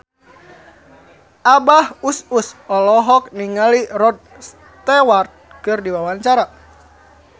Abah Us Us olohok ningali Rod Stewart keur diwawancara